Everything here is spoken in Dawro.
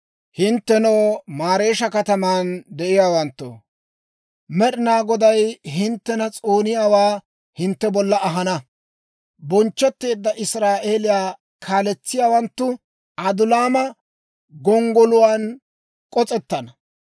Hinttenoo, Mareesha kataman de'iyaawanttoo, Med'ina Goday hinttena s'ooniyaawaa hintte bolla ahana; bonchchetteedda Israa'eeliyaa kaaletsiyaawanttu Adulaama gonggoluwaan k'osettana.